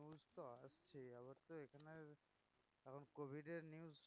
covid এর news